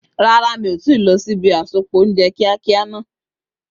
Rárá, mi ò tíì lọ sí ibi àsopọ̀ oúnjẹ kíákíá náà.